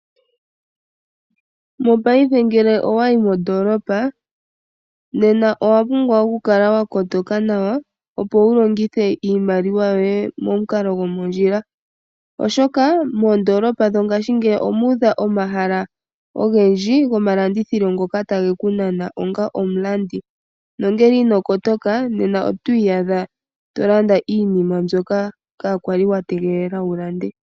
Mopaife ngele owayi mondoolopa, nena owa pumbwa okukala wa kotoka nawa, opo wulongithe iimaliwa yoye momukalo gomondjila. Oshoka, moondolopa dhongaashingeyi omuudha omahala ogendji goma landithilo ngoka tageku nana onga omulandi. Nongele inokotoka ,nena otwiiyadha tolanda iinima mbyoka kaakwali wa tegelela wulande.